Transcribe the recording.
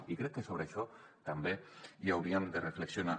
i crec que sobre això també hi hauríem de reflexionar